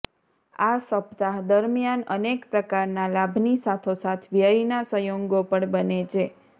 આ સપ્તાહ દરમ્યાન અનેક પ્રકારના લાભની સાથોસાથ વ્યયના સંયોગો પણ બને છે